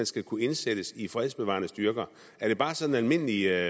skal kunne indsættes i fredsbevarende styrker er det bare sådan almindelige